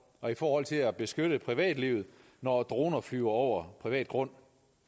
og i forhold til at beskytte privatlivet når droner flyver over privat grund